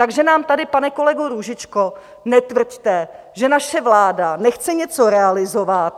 Takže nám tady, pane kolego Růžičko, netvrďte, že naše vláda nechce něco realizovat.